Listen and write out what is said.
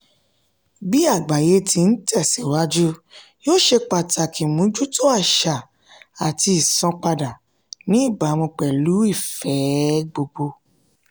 bí àgbáyé ti ń tẹ̀síwájú yíò ṣe pàtàkì mójútó àṣà àti ìsanpadà ní ìbámu pẹ̀lú ìfẹ́ẹ gbogbo.